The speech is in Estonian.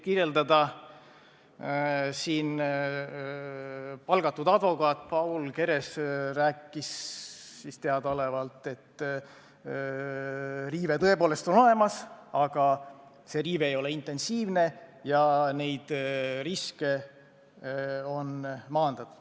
Valitsuse palgatud advokaat Paul Keres ütles teadaolevalt, et riive tõepoolest on olemas, aga see ei ole intensiivne ja neid riske on maandatud.